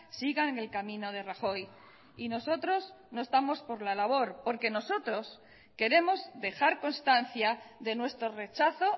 sigan en el camino de rajoy y nosotros no estamos por la labor porque nosotros queremos dejar constancia de nuestro rechazo